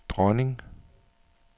dronning